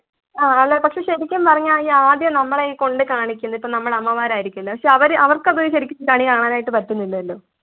ആഹ് അതെ പക്ഷെ ശെരിക്കും പറഞ്ഞാ ഈ ആദ്യം നമ്മളെ ഈ കാണിക്കുന്നു ഇപ്പൊ നമ്മുടെ അമ്മമാരായിരിക്കുല്ലേ പക്ഷെ അവര് അവർക്കത് ശരിക്ക് കണി കാണാനായിട്ട് പറ്റുന്നില്ലല്ലോ